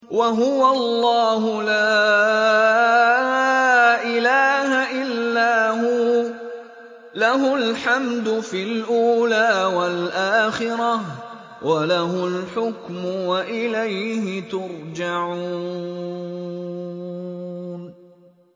وَهُوَ اللَّهُ لَا إِلَٰهَ إِلَّا هُوَ ۖ لَهُ الْحَمْدُ فِي الْأُولَىٰ وَالْآخِرَةِ ۖ وَلَهُ الْحُكْمُ وَإِلَيْهِ تُرْجَعُونَ